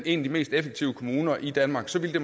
en af de mest effektive kommuner i danmark så ville